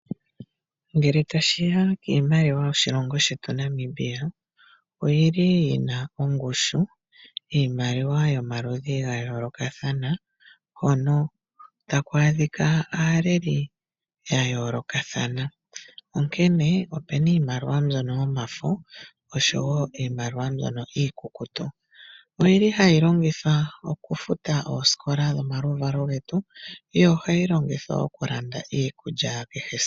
Ngele tashiya kiimaliwa yoshilongo shetu shaNamibia oyili yina ongushu. Iimaliwa yomaludhi ga yoolokathana hono taku adhika aaleli ya yoolokathana, onkene opena iimaliwa mbyono yomafo niimaliwa mbyono mbyono iikukutu oyili hayi longithwa okufuta oosikola dho momaluvalo getu yo ohayi longithwa okulanda iikulya kehe esiku